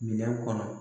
Minɛn kɔnɔ